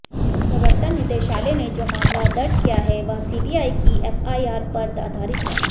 प्रवर्तन निदेशालय ने जो मामला दर्ज किया है वह सीबीआई की एफआईआर पर आधारित है